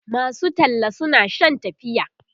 masu talla suna Shan tafiya